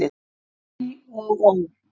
Æ og ó!